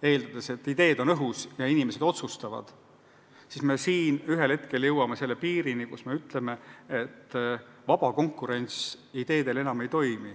eeldades, et ideed on õhus ja inimesed otsustavad, millal me ühel hetkel jõuame selle piirini, kus ütleme, et ideede vaba konkurents enam ei toimi.